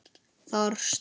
Þar stóð